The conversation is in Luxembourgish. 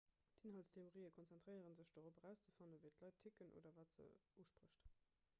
inhaltstheorien konzentréiere sech dorop erauszefannen wéi d'leit ticken oder wat se usprécht